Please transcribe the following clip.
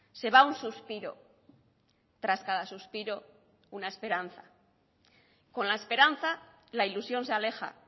se va un suspiro tras cada suspiro una esperanza con la esperanza la ilusión se aleja